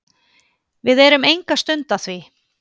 Við erum enga stund að því.